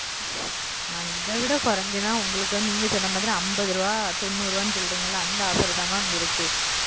mam இதைவிட கொறிச்சின நீங்க சொன்னமாரி ஐம்பது ரூபா தொண்ணுறு ரூபா அந்த offer தா mam இருக்கு